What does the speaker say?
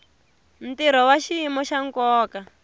ntirho wa xiyimo xa nkoka